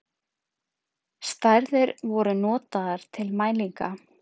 stærðir voru notaðar til mælinga